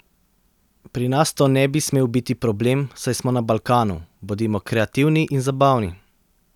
Pri nas to ne bi smel biti problem, saj smo na Balkanu, bodimo kreativni in zabavni.